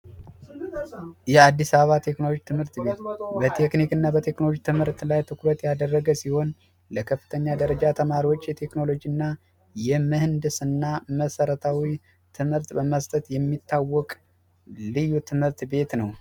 የአዲስ አበባ ቴክኖሎጂ ትምህርት ቤት በቴክኒክና በቴክኖሎጂ ተመልክት ላይ ትኩረት ያደረገ ሲሆን ለከፍተኛ ደረጃ ተማሪዎች የቴክኖሎጂ እና የምህና መሰረታዊ ትምህርት በመስጠት የሚታወቅ ልዩ ትምህርት ቤት ነው